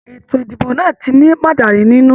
Ètò ìdìbò náà tí ni mọ̀dàrú nínú.